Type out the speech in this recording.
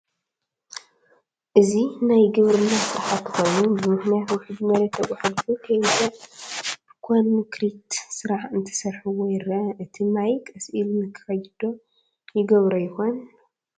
እዚ ናይ ግብርና ስራሕቲ ኮይኑ ብምኽንያት ውሕጅ መሬት ተጓሕጐሑ ከይውዳእ ብኮንክሪት ስራሕ እንትሰርሕዎ ይረአ፡፡ እቲ ማይ ቀስ ኢሉ ንኽኸይድ ዶ ይገብሮ ይኾን?